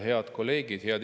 Head kolleegid!